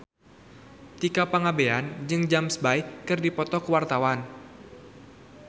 Tika Pangabean jeung James Bay keur dipoto ku wartawan